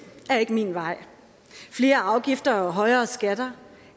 er ikke min vej flere afgifter og højere skatter